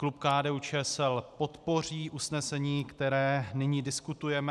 Klub KDU-ČSL podpoří usnesení, které nyní diskutujeme.